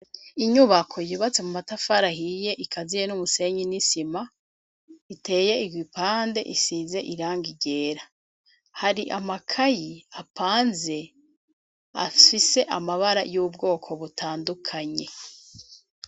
Inyubako yubatse mu matafari ahiye ikaziye n’umusenyi n’isima riteye igipande isize irangi ryera, hari amakayi apanze afise amabara yubgoko butandukanye .